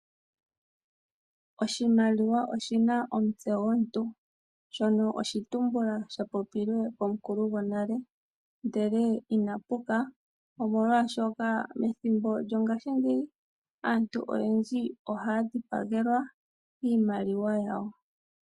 Oshimaliwa oshina omutse gomuntu shono oshitumbula sha popilwe komukulu gonale, ndele ina puka omolwaashoka methimbo lyongaashingeyi aantu oyendji ohaya dhipagelwa iimaliwa yawo.